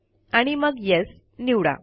आणि मग येस निवडा